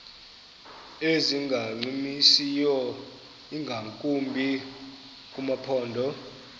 ezingancumisiyo ingakumbi kumaphondo